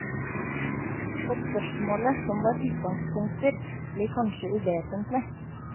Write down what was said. Og spørsmålet som var utgangspunkter, blir kanskje uvesentlig.